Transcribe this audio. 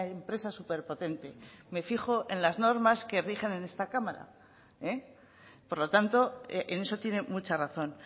empresa superpotente me fijo en las normas que rigen en esta cámara por lo tanto en eso tiene mucha razón